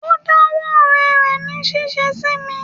O dá wó ọ̀rẹ́ rẹ̀ ní ṣíṣe sí mi.